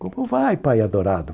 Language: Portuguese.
Como vai, pai adorado?